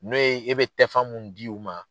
N'o ye e bɛ tɛfan mun di u ma